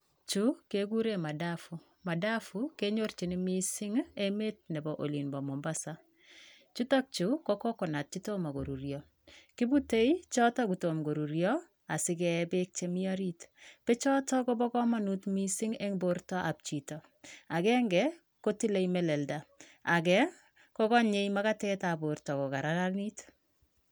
Chu kekuren madafu, madafu kenyorchin mising emet nepo olimpo Mombasa, chutok chu ko cocconut chetom korurio, kipute choto kotom korurio asikee beek chemi orit bechoto kopokomonut mising eng bortab chito akenge kotile melelda, ake kokonye makatetab borto kokararanit.